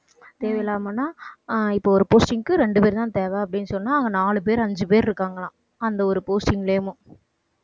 தேவையில்லாமன்னா அஹ் இப்போ ஒரு posting க்கு ரெண்டு பேர் தான் தேவை அப்படின்னு சொன்னா அவங்க நாலு பேர் அஞ்சு பேர் இருக்காங்களாம். அந்த ஒரு posting